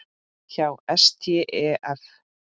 hjá STEF.